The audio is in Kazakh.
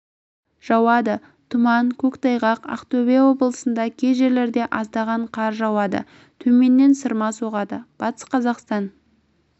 жауады тұман көктайғақ ақтөбе облысында кей жерлерде аздаған қар жауады төменнен сырма соғады батыс қазақстан